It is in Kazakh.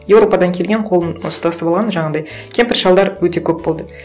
еуропадан келген қолын ұстасып алған жаңағындай кемпір шалдар өте көп болды